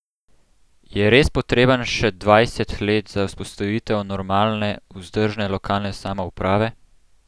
Je res potrebnih še dvajset let za vzpostavitev normalne, vzdržne lokalne samouprave?